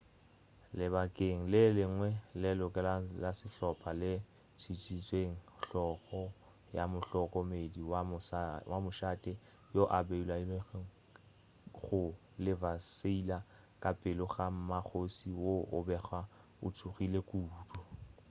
lebakeng le lengwe leloko la sehlopa le tšikintšitše hlogo ya mohlokomedi wa mošate yo a bolailwego go la versaille ka pele ga mmakgoši wo a bego a tšhogile kudu